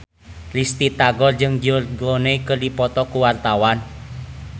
Risty Tagor jeung George Clooney keur dipoto ku wartawan